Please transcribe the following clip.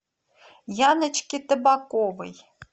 яночке табаковой